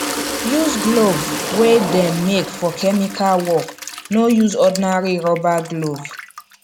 use glove wey dem make for chemical work no use ordinary rubber glove